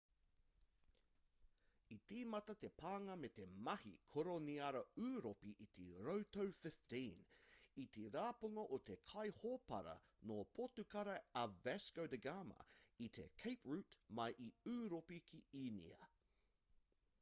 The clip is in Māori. i tīmata te pānga me te mahi koroniara ūropi i te rautau 15 i te rapunga o te kaihōpara nō potukara a vasco da gama i te cape route mai i ūropi ki īnia